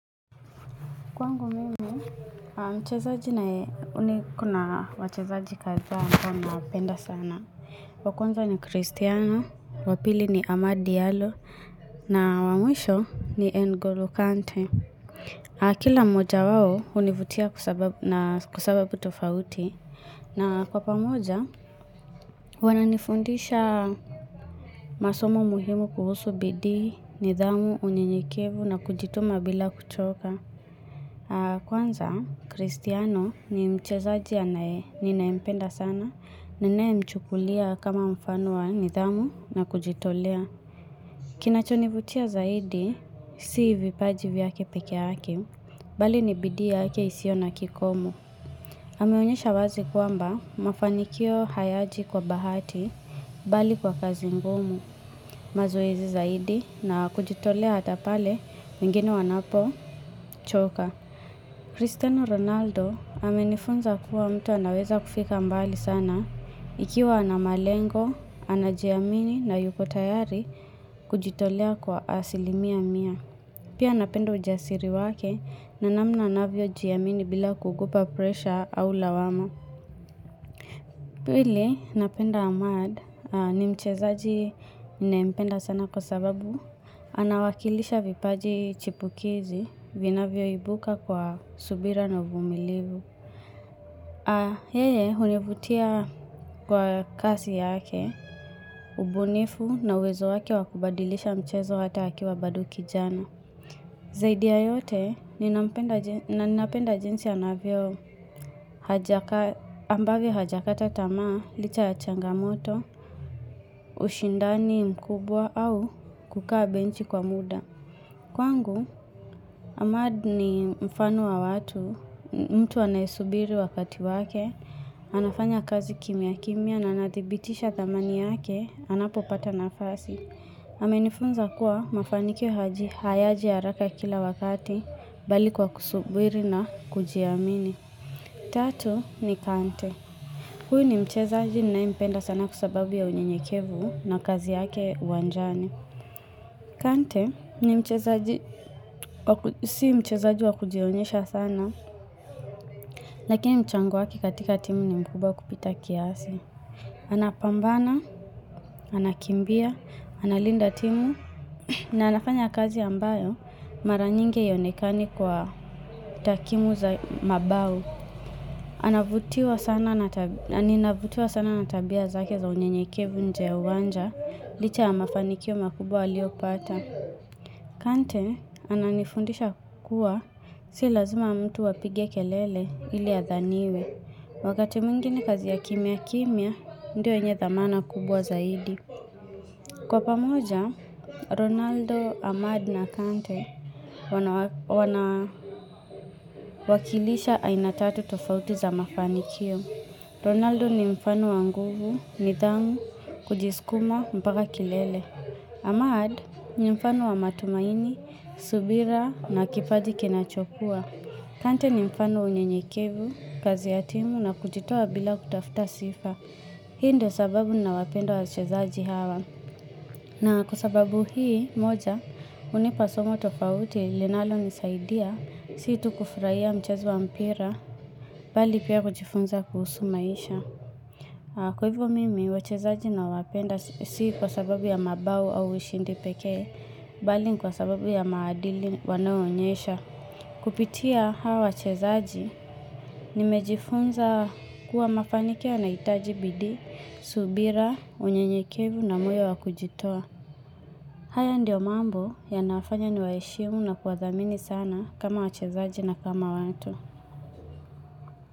Kwangu mimi, niko na wachezaji kadhaa ambao nawapenda sana. Wa kwanza ni Kristiano, wa pili ni Amadi Yalo, na wa mwisho ni NgoLo kante. Kila moja wao hunivutia kwa sababu tofauti. Na kwa pamoja, wananifundisha masomo muhimu kuhusu bidii, nidhamu, unyenyekevu na kujituma bila kuchoka. Kwanza, Kristiano ni mchezaji anaye, ninayempenda sana, ninayemchukulia kama mfano wa nidhamu na kujitolea Kinachonivutia zaidi, si vipaji vyake pekeake, bali ni bidii yake isio na kikomo ameonyesha wazi kwamba, mafanikio hayaji kwa bahati, bali kwa kazi ngumu mazoezi zaidi na kujitolea hata pale, wengine wanapochoka Cristiano Ronaldo amenifunza kuwa mtu anaweza kufika mbali sana ikiwa ana malengo, anajiamini na yuko tayari kujitolea kwa asilimia mia. Pia napenda ujasiri wake na namna anavyojiamini bila kuogopa presha au lawama. Pili, napenda amad ni mchezaji ninayempenda sana kwa sababu anawakilisha vipaji chipukizi vinavyoibuka kwa subira na uvumilivu. Yeye, hunivutia kwa kasi yake, ubunifu na uwezo wake wa kubadilisha mchezo hata akiwa bado kijana. Zaidi ya yote, ninapenda jinsi anavyo ambavyo hajakata tamaa licha ya changamoto, ushindani mkubwa au kukaa benchi kwa muda. Kwangu, amad ni mfano wa watu, mtu anayesubiri wakati wake, anafanya kazi kimya kimya na anadhibitisha dhamani yake, anapopata nafasi. Amenifunza kuwa mafanikio haji hayaji haraka kila wakati bali kwa kusubiri na kujiamini. Tatu ni kante. Huyu ni mchezaji nayempenda sana kwa sababu ya unyenyekevu na kazi yake uwanjani. Kante ni mchezaji si mchezaji wa kujionyesha sana, lakini mchango wake katika timu ni mkubwa kupita kiasi. Anapambana, anakimbia, analinda timu na anafanya kazi ambayo mara nyingi haionekani kwa takimu za mabao. Ninavutiwa sana na tabia zake za unyenyekevu nje ya uwanja, licha ya mafanikio makubwa aliopata. Kante, ananifundisha kuwa, si lazma mtu apige kelele ili adhaniwe. Wakati mwingi ni kazi ya kimya kimya, ndio yenye dhamana kubwa zaidi. Kwa pamoja, Ronaldo, Ahmad na Kante wanawakilisha aina tatu tofauti za mafanikio. Ronaldo ni mfano wa nguvu, nidhamu, kujiskuma, mpaka kilele. Ahmad ni mfano wa matumaini, subira na kipaji kinachokua. Kante ni mfano unyenyekevu, kazi ya timu na kujitoa bila kutafuta sifa. Hii ndo sababu nawapenda wachezaji hawa. Na kwa sababu hii moja, hunipa somo tofauti, linalonisaidia, si tu kufurahia mchezo wa mpira, bali pia kujifunza kuhusu maisha. Kwa hivo mimi, wachezaji nawapenda si kwa sababu ya mabao au ushindi pekee, bali ni kwa sababu ya maadili wanaoonyesha. Kupitia hawa wachezaji nimejifunza kuwa mafanikio yanahitaji bidii, subira, unyenyekevu na moyo wa kujitoa haya ndio mambo yanafanya niwaheshimu na kuwadhamini sana kama wachezaji na kama watu.